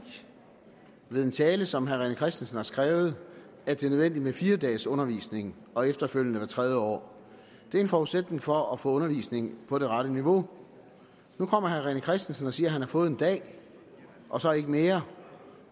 ved en tale som herre rené christensen har skrevet at det er nødvendigt med fire dages undervisning og efterfølgende hvert tredje år det er en forudsætning for at få undervisning på det rette niveau nu kommer herre rené christensen og siger at han har fået en dag og så ikke mere